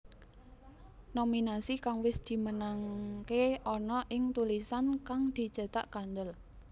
Nominasi kang wis dimenangké ana ing tulisan kang dicetak kandhel